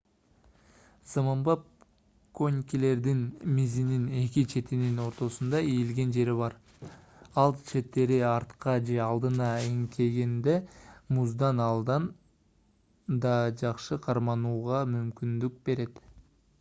заманбап конькилердин мизинин эки четинин ортосунда ийилген жери бар ал четтери артка же алдыга эңкейгенде музда андан да жакшы карманууга мүмкүндүк берет